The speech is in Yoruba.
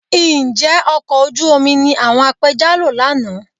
Ǹjẹ́ ọkọ̀ ojú omi ni àwọn apẹja lò lánàá?